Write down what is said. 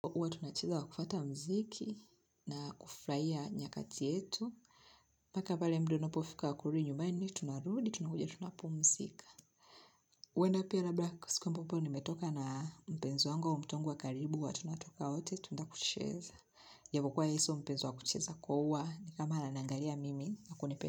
Huwa tunacheza wa kufata mziki na kufurahia nyakati yetu. Mpaka pale muda unapofika wa kurudi nyumbani, tunarudi, tunakujia, tunapumzika. Uwenda pia labda siku ambapo nimetoka na mpenzi wangu, au mtu wangu wa karibu huwa tunatoka wote, tunaendakucheza. Japokuwa ya sio mpenzo wa kucheza kua uwa, ni kama ananiangalia mimi na kunipe.